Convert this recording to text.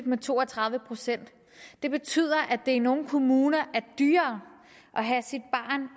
med to og tredive procent det betyder at det i nogle kommuner er dyrere at have sit barn